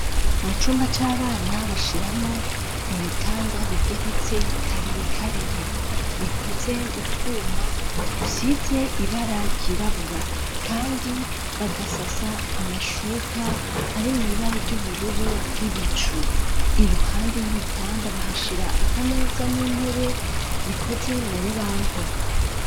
Mu cumba c'abana bashiramwo ibitanda bigegeretse kabiri kabiri bikoze mu twuma dusize ibara ryirabura kandi bagasasa amashuka ari mw'ibara ry'ubururu bw'ibicu iruhande y'ibitanda bahashira akameza n'intebe bikoze mu rubaho.